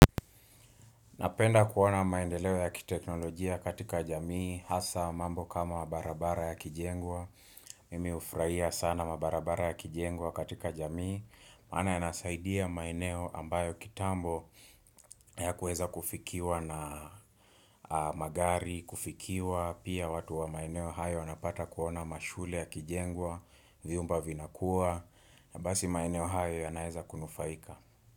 Napenda kuona maendeleo ya kiteknolojia katika jamii, hasa mambo kama mabarabara ya kijengwa, mimi hufurahia sana mabarabara ya kijengwa katika jamii, maana yanasaidia maeneo ambayo kitambo hayakueza kufikiwa na magari kufikiwa, pia watu wa maeneo hayo wanapata kuona mashule ya kijengwa, viumba vinakuwa, na basi maeneo hayo yanaweza kunufaika.